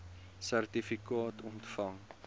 sertifikaat ontvang